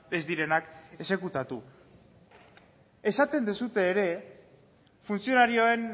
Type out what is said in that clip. ez direnak exekutatu esaten duzue ere funtzionarioen